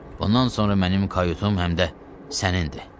Bundan sonra mənim kayutum həm də sənindir.